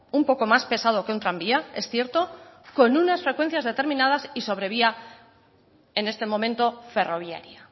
un poco más pesado que un tranvía es cierto con unas frecuencias determinadas y sobre vía en este momento ferroviaria